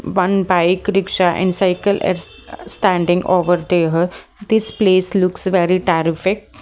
one bike rickshaw and cycle are s-as-standing over there this place looks very tarrific .